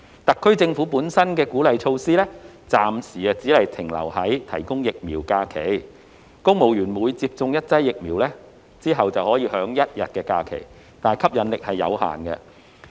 特區政府本身的鼓勵措施，暫時只停留在提供疫苗假期，公務員每接種一劑疫苗後可享一天假期，吸引力有限。